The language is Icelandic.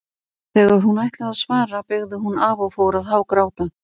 Þegar hún ætlaði að svara beygði hún af og fór að hágráta.